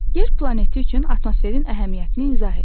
Yer planeti üçün atmosferin əhəmiyyətini izah et.